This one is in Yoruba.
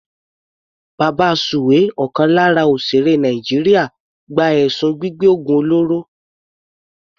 Babasuwe ọ̀kan lára òsèèré Nàìjíríà gba ẹ̀sùn gbígbẹ́ ògùn olóró.